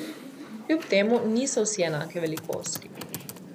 Kljub temu niso vsi enake velikosti.